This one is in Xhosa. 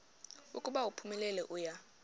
ukuba uphumelele uya